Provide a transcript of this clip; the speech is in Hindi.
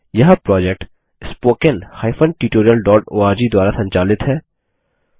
यह प्रोजेक्ट httpspoken tutorialorg द्वारा संचालित है